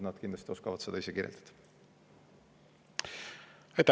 Nad kindlasti oskavad seda kirjeldada.